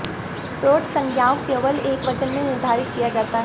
road संज्ञाओं केवल एकवचन में निर्धारित किया जाता है